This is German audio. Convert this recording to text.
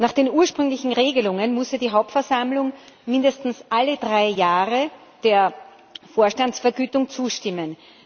Nach den ursprünglichen Regelungen musste die Hauptversammlung mindestens alle drei Jahre der Vorstandsvergütung zustimmen.